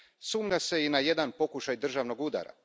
Sumnja se i na jedan pokušaj državnog udara.